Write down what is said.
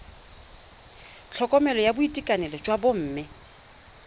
tlhokomelo ya boitekanelo jwa bomme